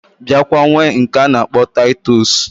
Biakwa nwee nke ana akpo titus